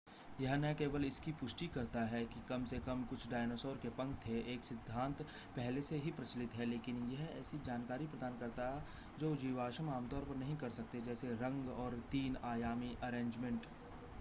यह न केवल इसकी पुष्टि करता है कि कम से कम कुछ डायनासोर के पंख थे एक सिद्धांत पहले से ही प्रचलित है लेकिन यह ऐसी जानकारी प्रदान करता जो जीवाश्म आमतौर पर नहीं कर सकते जैसे रंग और तीन आयामी अरेंजमेंट